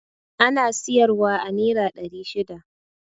Ana siyar wa a nera ɗari shida